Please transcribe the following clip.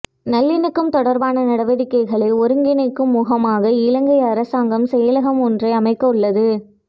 நல்லிணக்கம் தொடர்பான நடவடிக்கைகளை ஒருங்கிணைக்கும் முகமாக இலங்கை அரசாங்கம் செயலகம் ஒன்றை அமைக்கவுள்ளது